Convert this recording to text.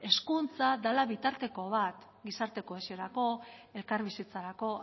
hezkuntza dela bitarteko bat gizarte kohesiorako elkarbizitzarako